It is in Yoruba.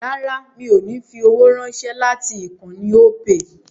Rárá mi ò ní fi owó ránṣẹ́ láti ìkànnì Opay